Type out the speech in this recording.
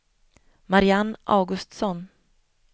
Mariann Augustsson